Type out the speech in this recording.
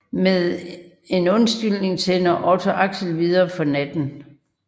Med en undskyldning sender Otte Axel videre for natten